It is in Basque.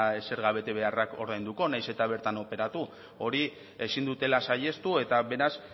zerga betebeharrak ordainduko nahiz eta bertan operatu hori ezin dutela saihestu eta beraz